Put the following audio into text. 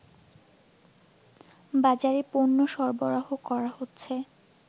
বাজারে পণ্য সরবরাহ করা হচ্ছে